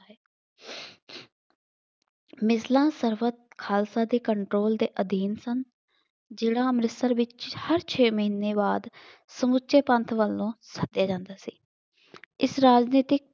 ਮਿਸਲਾਂ ਖਾਲਸਾ ਦੇ control ਦੇ ਅਧੀਨ ਸਨ। ਜ਼ਿਲ੍ਹਾਂ ਅੰਮ੍ਰਿਤਸਰ ਵਿੱਚ ਹਰ ਛੇ ਮਹੀਨੇ ਬਾਅਦ ਸਮੁੱਚੇ ਪੰਥ ਵੱਲ ਨੂੰ ਸੱਦਿਆ ਜਾਂਦਾ ਸੀ। ਇਸ ਰਾਜਨੀਤਿਕ